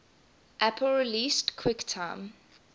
apple released quicktime